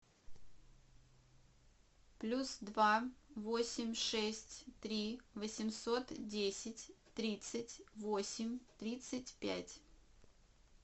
плюс два восемь шесть три восемьсот десять тридцать восемь тридцать пять